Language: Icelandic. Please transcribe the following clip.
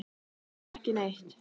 Jafnvel ekki neitt.